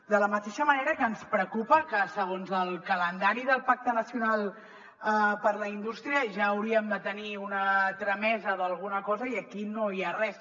de la mateixa manera que ens preocupa que segons el calendari del pacte nacional per a la indústria ja hauríem de tenir una tramesa d’alguna cosa i aquí no hi ha res